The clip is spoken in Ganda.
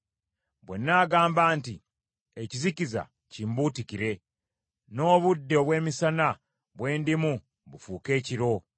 Bwe nnaagamba nti, “Ekizikiza kimbuutikire, n’obudde obw’emisana bwe ndimu bufuuke ekiro.”